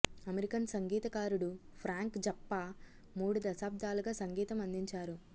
American సంగీతకారుడు Frank Zappa మూడు దశాబ్దాలుగా సంగీతం అందించారు